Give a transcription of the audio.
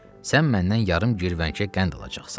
Sən məndən yarım girvənkə qənd alacaqsan.